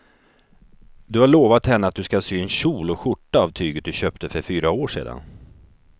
Du har lovat henne att du ska sy en kjol och skjorta av tyget du köpte för fyra år sedan.